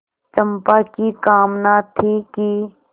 चंपा की कामना थी कि